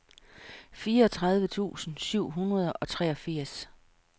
fireogtredive tusind syv hundrede og treogfirs